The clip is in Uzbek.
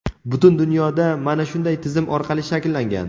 Butun dunyoda mana shunday tizim orqali shakllangan.